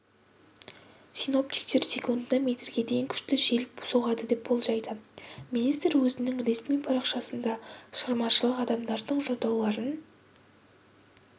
синоптиктер секундына метрге дейін күшті жел соғады деп болжайды министр өзінің ресми парақшасында шығармашылық адамдардың жолдауларын